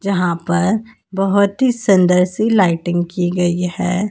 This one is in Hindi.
यहां पर बहोत ही सुंदर सी लाइटिंग की गई है।